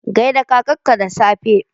Gai da kakarka da safe!